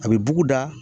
A bɛ bugu da